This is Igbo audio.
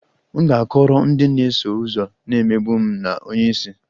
M ga-akọrọ ndị na-eso ụzọ na-emegbu m na onye isi